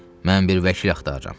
Mən bir vəkil axtarıram,